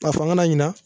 Ka fanga la ɲina